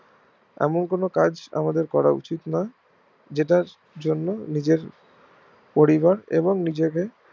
এমন কোনো কাজ আমাদের করা উচিত নয় যেটার জন্য নিজের পরিবার এবং নিজেদের